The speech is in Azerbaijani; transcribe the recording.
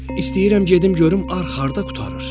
İstəyirəm gedim görüm arx harda qurtarır.